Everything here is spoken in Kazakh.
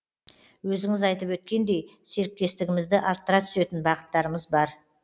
өзіңіз айтып өткендей серіктестігімізді арттыра түсетін бағыттарымыз бар